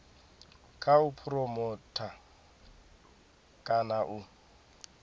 kha u phuromotha kana u